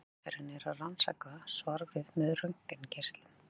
Hin aðferðin er að rannsaka svarfið með röntgengeislum.